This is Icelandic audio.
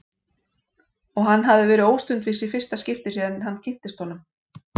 Og hann hafði verið óstundvís í fyrsta skipti síðan hann kynntist honum.